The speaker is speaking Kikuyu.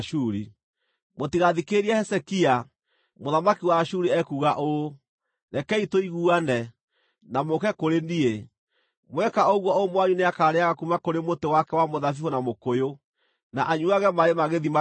“Mũtigathikĩrĩrie Hezekia. Mũthamaki wa Ashuri ekuuga ũũ: Rekei tũiguane, na mũũke kũrĩ niĩ. Mweka ũguo o ũmwe wanyu nĩakarĩĩaga kuuma kũrĩ mũtĩ wake wa mũthabibũ na mũkũyũ, na anyuuage maaĩ ma gĩthima gĩake,